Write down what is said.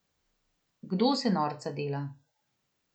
Kdo se norca dela.